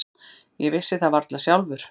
Ég vissi það varla sjálfur.